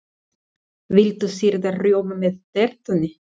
Viltu sýrðan rjóma með tertunni?